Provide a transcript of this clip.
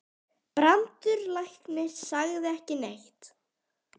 Brandur læknir sagði ekki neitt.